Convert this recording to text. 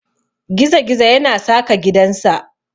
Gizi-gizo yana saka gidansa.